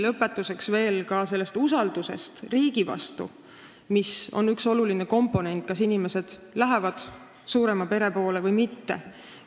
Lõpetuseks veidi ka usaldusest riigi vastu, mis on üks oluline komponent otsustamisel, kas inimesed lähevad suurema pere poole või mitte.